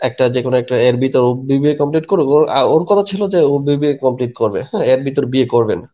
একটা যেকোনো একটা এর ভিতর ও BBA complete করুক ও আ ওর কথা ছিলো যে ও BBA complete করবে হ্যান এর ভিতর বিয়ে করবে না.